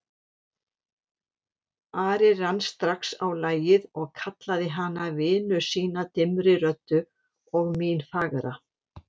Ari rann strax á lagið og kallaði hana vinu sína dimmri röddu, og mín fagra.